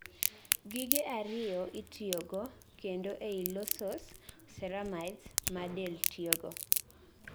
gige ariyo itiyogo kendo ei losos ceramides ma del tiyogo